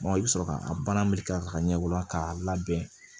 i bɛ sɔrɔ ka a baara ka ɲɛbɔ k'a labɛn